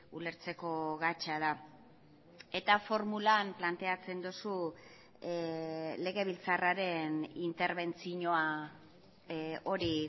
ulertzeko gatza da eta formulan planteatzen duzu legebiltzarraren interbentzioa hori